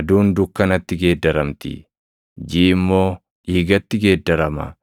aduun dukkanatti geeddaramti; jiʼi immoo dhiigatti geeddarama.